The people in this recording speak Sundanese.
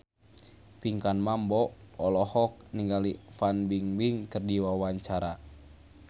Pinkan Mambo olohok ningali Fan Bingbing keur diwawancara